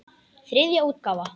Þriðja útgáfa.